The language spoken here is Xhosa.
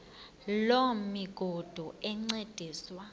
loo migudu encediswa